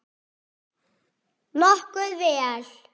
Nokkuð vel.